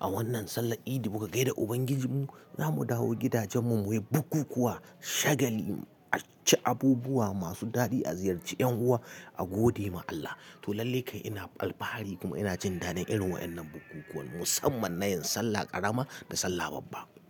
a wannan sallar idi muke gaida Ubangijinmu. Za mu dawo gidajenmu muyi bukukuwa, shagali, aci abubuwa masu daɗi, a ziyarci 'yan uwa a gode ma Allah. To lallai kai ina alfahari kuma ina jin daɗin irin wa'innan bukukuwan musamman na yin Sallah ƙarama da Sallah babba.